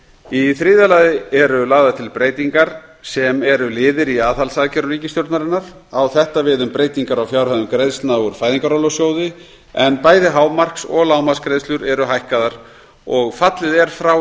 í þriðja lagi eru lagðar til breytingar sem eru liðir í aðhaldsaðgerðum ríkisstjórnarinnar á þetta við um breytingar á fjárhæðum greiðslna úr fæðingarorlofssjóði en bæði hámarks og lágmarksgreiðslur eru hækkaðar og fallið er frá